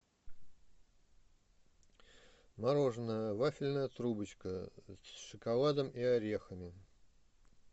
мороженое вафельная трубочка с шоколадом и орехами